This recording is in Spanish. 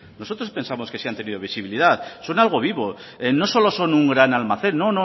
nosotros pensamos que sí han tenido visibilidad son algo vivo no solo son un gran almacén